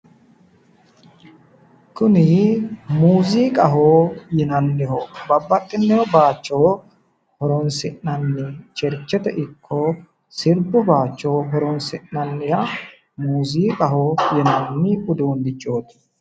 Kuni muuziiqaho yinanniho. Babbaxxino bayicho horoonsi'nanni. Cherchete ikko sirbu bayicho horoonsi'nanniha muuziiqaho yinanni uduunnichooti.